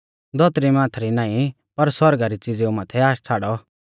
धौतरी माथै री नाईं पर सौरगा री च़िज़ेऊ माथै आश छ़ाड़ौ